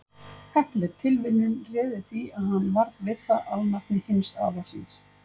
Heppileg tilviljun réði því að hann varð við það alnafni hins afa síns.